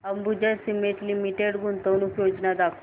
Ambuja cement limited गुंतवणूक योजना दाखव